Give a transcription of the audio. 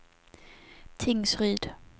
Tingsryd